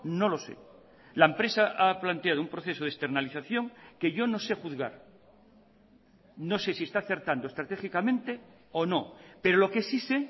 no lo sé la empresa ha planteado un proceso de externalización que yo no sé juzgar no sé si está acertando estratégicamente o no pero lo que sí sé